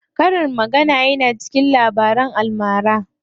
Karin magana yana cikin Labaran almara.